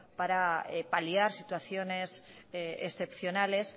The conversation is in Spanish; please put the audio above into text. para paliar situaciones excepcionales